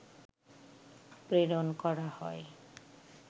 প্রেরণ করা হয়